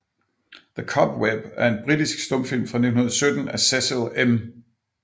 The Cobweb er en britisk stumfilm fra 1917 af Cecil M